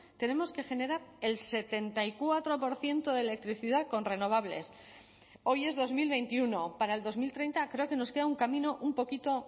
tenemos que generar el setenta y cuatro por ciento de electricidad con renovables hoy es dos mil veintiuno para el dos mil treinta creo que nos queda un camino un poquito